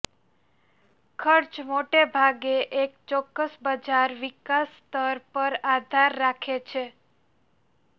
ખર્ચ મોટે ભાગે એક ચોક્કસ બજાર વિકાસ સ્તર પર આધાર રાખે છે